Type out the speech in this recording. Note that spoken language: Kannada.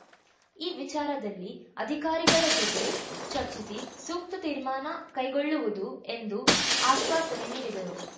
ಈ ವಿಚಾರದಲ್ಲಿ ಅಧಿಕಾರಿಗಳ ಜೊತೆ ಚರ್ಚಿಸಿ ಸೂಕ್ತ ತೀರ್ಮಾನ ಕೈಗೊಳ್ಳುವುದು ಎಂದು ಅಶ್ವಾಸನೆ ನೀಡಿದರು